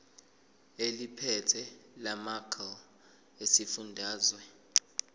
eliphethe lamarcl esifundazwe